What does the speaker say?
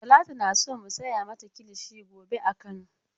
Talatu na so mu saya mata kilishi gobea kano.